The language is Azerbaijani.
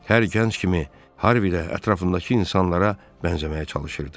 Hər gənc kimi Harvey də ətrafındakı insanlara bənzəməyə çalışırdı.